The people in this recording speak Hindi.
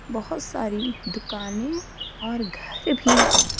बहोत सारी दुकानें और घर भी है।